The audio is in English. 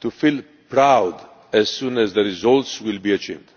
to feel proud as soon as the results are achieved.